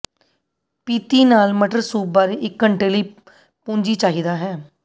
ਪੀਤੀ ਨਾਲ ਮਟਰ ਸੂਪ ਬਾਰੇ ਇੱਕ ਘੰਟੇ ਲਈ ਪੂੰਜੀ ਚਾਹੀਦਾ ਹੈ